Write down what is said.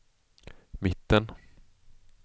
mitten